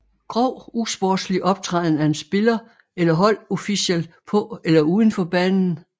Grov usportslig optræden af en spiller eller holdofficial på eller uden for banen